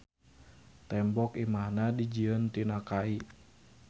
Tembok imahna dijieun tina kai.